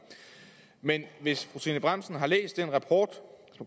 men hvis fru trine bramsen har læst den rapport som